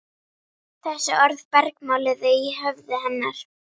Þessi orð bergmáluðu í höfði hennar.